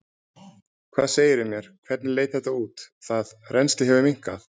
Hvað segirðu mér, hvernig leit þetta út, það, rennslið hefur minnkað?